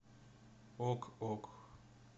ок ок